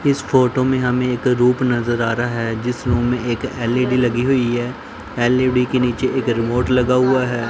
इस फोटो में हमें एक रूम नजर आ रहा है जिस रूम में एक एल_इ_डी लगी हुई है। एल_ई_डी के नीचे एक रिमोट लगा हुआ है।